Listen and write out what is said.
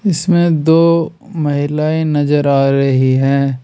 इसमें दो महिलाएं नजर आ रही हैं।